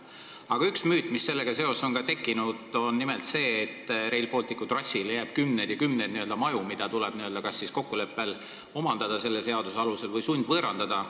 Aga üks müüt, mis sellega seoses on tekkinud, on see, et Rail Balticu trassile jääb kümneid ja kümneid maju, mida tuleb kas siis kokkuleppel omandada selle seaduse alusel või sundvõõrandada.